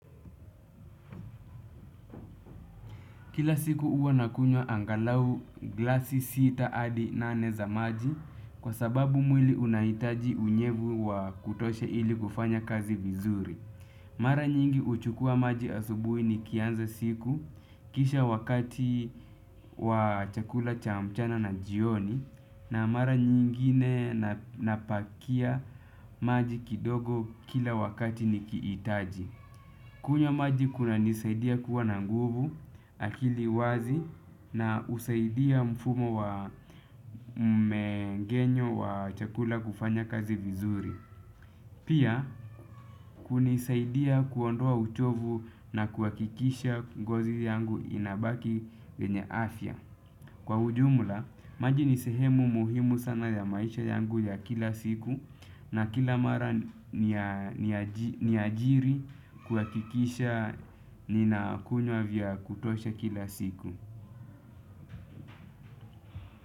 Kila siku huwa nakunywa angalau glasi sita hadi nane za maji kwa sababu mwili unahitaji unyevu wa kutosha ili kufanya kazi vizuri. Mara nyingi huchukua maji asubui nikianza siku kisha wakati wa chakula cha mchana na jioni na mara nyingine napakia maji kidogo kila wakati nikihitaji. Kunywa maji kunanisaidia kuwa na nguvu akili wazi na husaidia mfumo wa mmngenyo wa chakula kufanya kazi vizuri. Pia kunisaidia kuondoa uchovu na kuhakikisha ngozi yangu inabaki venye afya. Kwa ujumula, maji ni sehemu muhimu sana ya maisha yangu ya kila siku na kila mara ni ajiri kuhakikisha ninakunywa vya kutosha kila siku.